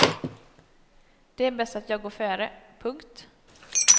Det är bäst att jag går före. punkt